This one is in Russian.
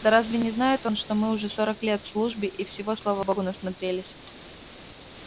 да разве не знает он что мы уже сорок лет в службе и всего слава богу насмотрелись